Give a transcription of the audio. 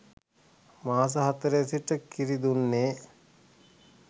මාස හතරේ සිට කිරි දුන්නේ